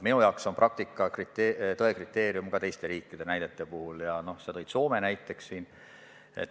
Minu jaoks on praktika tõe kriteerium ka teiste riikide näidete puhul, sa tõid esile Soome.